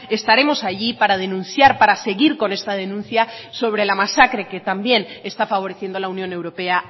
estaremos allí para denunciar para seguir con esta denuncia sobre la masacre que también está favoreciendo la unión europea